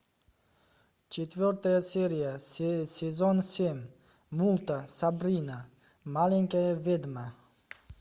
четвертая серия сезон семь мульта сабрина маленькая ведьма